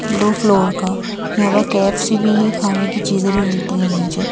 दो फ्लोर का यहां पर के_ऐफ_सी भी है खाने की चीजें भी मिलती हैं नीचे--